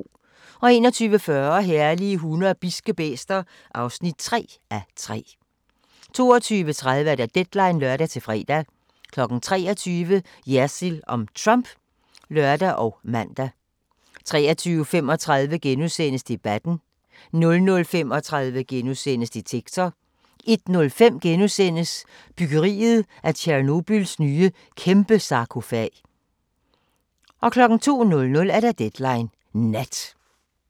21:40: Herlige hunde og bidske bæster (3:3) 22:30: Deadline (lør-fre) 23:00: Jersild om Trump (lør og man) 23:35: Debatten * 00:35: Detektor * 01:05: Byggeriet af Tjernobyls nye kæmpesarkofag * 02:00: Deadline Nat